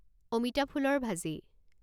অমিতা ফুলৰ ভাজি